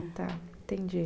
Entendi.